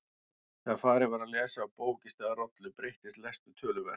Þegar farið var að lesa af bók í stað rollu breyttist lestur töluvert.